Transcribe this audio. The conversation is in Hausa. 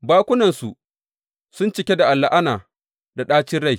Bakunansu sun cike da la’ana da ɗacin rai.